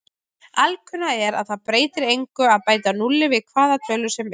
Alkunna er að það breytir engu að bæta núlli við hvaða tölu sem er.